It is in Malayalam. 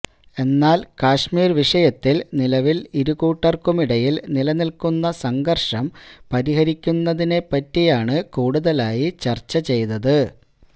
എന്നാല് കശ്മീര് വിഷയത്തില് നിലവില് ഇരുകൂട്ടര്ക്കുമിടയില് നിലനില്ക്കുന്ന സംഘര്ഷം പരിഹരിക്കുന്നതിനെപ്പറ്റിയാണ് കൂടുതലായി ചര്ച്ച ചെയ്തത്